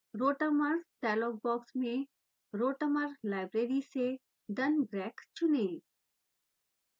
rotamer dialog box में rotamer library से dunbrack चुनें